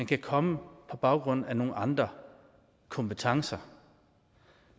kan komme på baggrund af nogle andre kompetencer